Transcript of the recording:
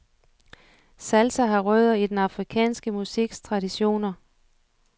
Salsa har rødder i den afrikanske musiks traditioner.